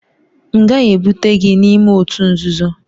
M gaghị ebute gị n'ime òtù nzuzo!